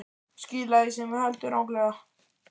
Skila því sem þú heldur ranglega.